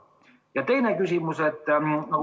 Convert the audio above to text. Ja teine küsimus.